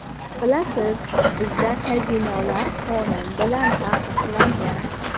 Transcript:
Bilasiz, bizda kazinolar qonun bilan taqiqlangan.